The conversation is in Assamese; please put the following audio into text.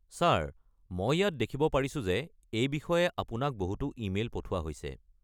ছাৰ, মই ইয়াত দেখিব পাৰিছোঁ যে এই বিষয়ে আপোনাক বহুতো ই-মেইল পঠোৱা হৈছে।